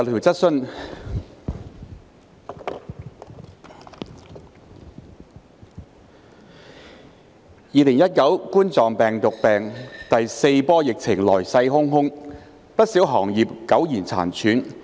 主席 ，2019 冠狀病毒病第四波疫情來勢洶洶，不少行業苟延殘喘。